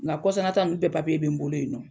Nka kɔsana tan ninnu bɛɛ papie bɛ n bolo yen nɔ.